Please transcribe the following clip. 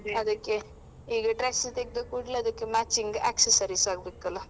ಈಗ dress ತೆಗೆದ ಕೂಡಲೇ ಅದಕ್ಕೆ matching accessories ಆಗ್ಬೇಕಲ್ಲ?